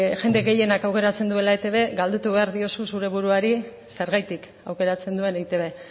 jende gehienak aukeratzen duela etb galdetu behar diozu zeure buruari zergatik aukeratzen duen eitb